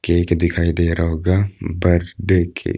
Cake दिखाई दे रहा होगा बर्थडे केक ।